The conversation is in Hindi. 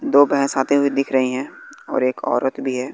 दो भैंस आते हुए दिख रही है और एक औरत भी है।